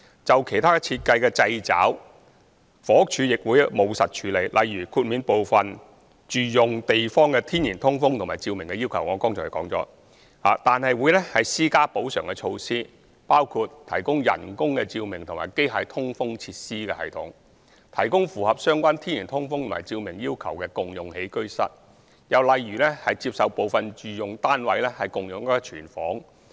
至於其他設計上的掣肘，房屋署亦會務實處理，例如豁免部分住用地方的天然通風和照明要求——我剛才亦已提及——但會施加補償措施，包括提供人工照明和機械通風設施系統、提供符合相關天然通風和照明要求的共用起居室，又或接受部分住用單位共用廚房。